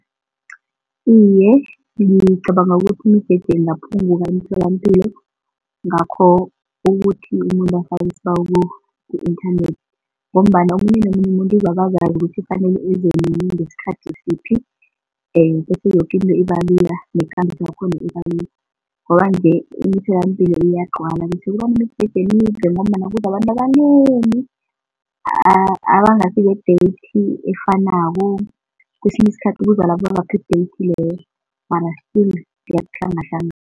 Iye, ngicabanga ukuthi imijeje ingaphunguka emtholampilo ngakho ukuthi umuntu afake isibawo ku-inthanethi ngombana omunye nomunye umuntu uzabe azazi ukuthi kufanele ezenini ngesikhathi siphi? And bese yoke into ibalula nekambiso yakhona ibalula. Ngoba nje emtholampilo kuyagcwala bese kubamijeje emide ngombana kuza abantu abanengi, abangasi be-date efanako. Kwesinye isikhathi kuzalaba ababaphe i-date leyo mara still kuyahlangahlangana.